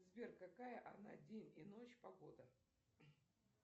сбер какая на день и ночь погода